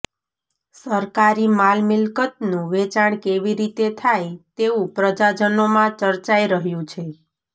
સરકારી માલ મિલકતનું વેચાણ કેવી રીતે થાય તેવુ પ્રજાજનોમા ંચર્ચાઇ રહ્યું છે